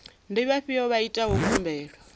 ndi vhafhio vha itaho khumbelo